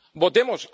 Votemos.